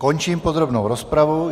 Končím podrobnou rozpravu.